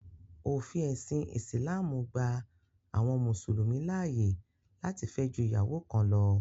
Òfin ẹ̀sìn ìsìlámù gba àwọn mùsùlùmí láàyè láti fẹ́ ju ìyàwó kan lọ.